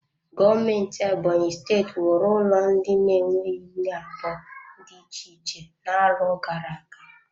Gọọmenti Ebonyi steeti wuru ụlọ ndị na-enweghị nne abụọ dị iche iche n'arọ gara aga.